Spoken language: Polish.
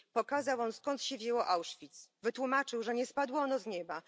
Pokazał on, skąd się wzięło Auschwitz, wytłumaczył, że nie spadło ono z nieba.